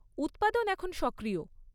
উৎপাদন এখন সক্রিয়।